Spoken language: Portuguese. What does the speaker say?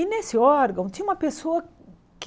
E nesse órgão tinha uma pessoa que...